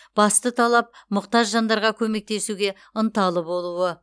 басты талап мұқтаж жандарға көмектесуге ынталы болуы